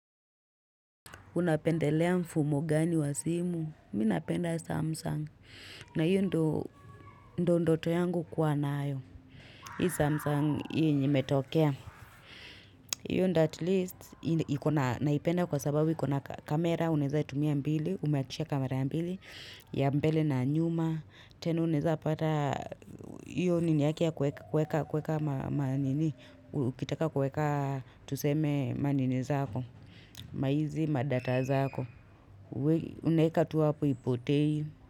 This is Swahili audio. Unapendelea mfumo gani wa simu, minapenda samsung, na iyo ndo ndoto yangu kuwa nayo. Hii samsung hii yenye imetokea. Iyo ndo at least, naipenda kwa sababu iko na kamera, unaweza tumia mbili, umeakisha kamera mbili, ya mbele na nyuma. Tena unaeza pata, iyo nini ya kuweka, kuweka, kuweka ma nini, ukitaka kuweka tuseme manini zako, maizi, madata zako. Unaeka tu hapo ipotei.